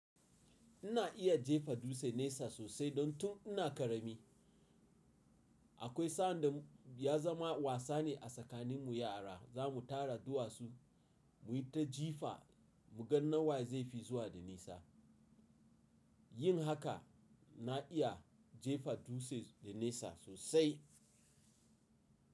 Ina iya jefa dutse nesa sosai don tun ina ƙarami. Akwai sa'an da ya zama wasa ne a tsakanin mu yara za mu tara duwatsu mu yi ta jifa mu ga nawa zai fi zuwa da nesa. Yin haka na iya jefa dutse da nesa sosai.